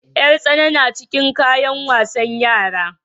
Yar tsana na cikin kayan wasan yara.